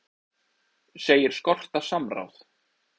Segir skorta samráð